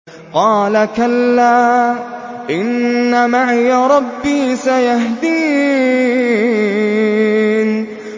قَالَ كَلَّا ۖ إِنَّ مَعِيَ رَبِّي سَيَهْدِينِ